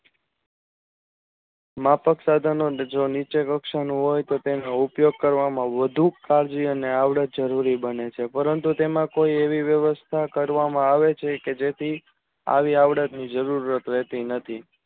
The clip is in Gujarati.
માફક સાધનો જે લક્ષણો હોય તો તેનો ઉપયોગ કરવા માં વધુ આવડત જરૂરી બને છે